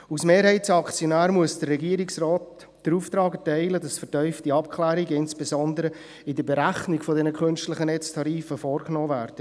Als Mehrheitsaktionär muss der Regierungsrat den Auftrag erteilen, dass vertiefte Abklärungen, insbesondere in der Berechnung der künstlichen Netztarife vorgenommen werden.